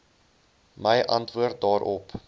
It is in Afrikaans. my antwoord daarop